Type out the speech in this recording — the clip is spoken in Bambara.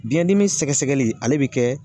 Biyɛn dimi sɛgɛsɛgɛli ale bi kɛ